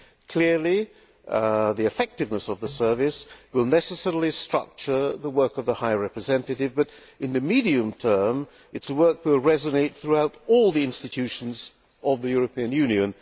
Clearly, the effectiveness of the Service will necessarily structure the work of the High Representative but, in the medium term, its work will resonate throughout all the institutions of the European Union.